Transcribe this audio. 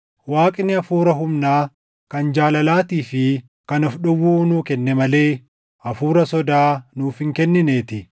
Waaqni hafuura humnaa, kan jaalalaatii fi kan of dhowwuu nuu kenne malee hafuura sodaa nuuf hin kennineetii.